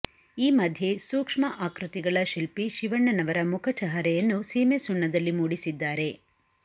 ಈ ಮಧ್ಯೆ ಸೂಕ್ಷ್ಮ ಆಕೃತಿಗಳ ಶಿಲ್ಪಿ ಶಿವಣ್ಣನವರ ಮುಖಚಹರೆಯನ್ನು ಸೀಮೆ ಸುಣ್ಣದಲ್ಲಿ ಮೂಡಿಸಿದ್ದಾರೆ